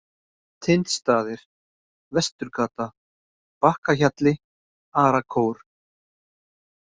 Tindstaðir, Vesturgata, Bakkahjalli, Arakór